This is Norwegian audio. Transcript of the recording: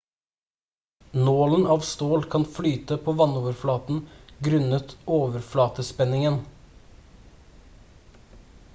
nålen av stål kan flyte på vannoverflaten grunnet overflatespenningen